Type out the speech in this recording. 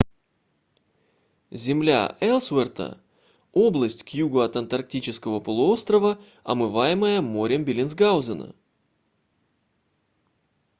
земля элсуэрта область к югу от антарктического полуострова омываемая морем беллинсгаузена